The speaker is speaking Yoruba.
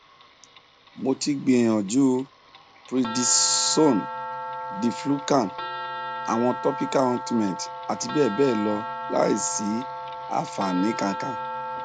mo ti gbìyànjú prednisone diflucan àwọn topical ointment àti bẹẹ bẹẹ lọ láìsí àfààní kankan